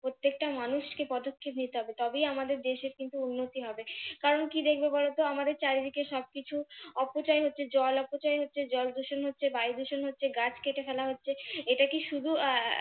প্রত্যেকটা মানুষকে পদক্ষেপ নিতে হবে তবেই আমাদের দেশের কিন্তু উন্নতি হবে কারন কি দেখবে বলতো আমাদের চারিদিকে শুধু অপচয় হচ্ছে জল অপচয় হচ্ছে জলদূষণ হচ্ছে বায়ুদুষণ হচ্ছে গাছ কেটে ফেলা হচ্ছে এটা কি শুধু আহ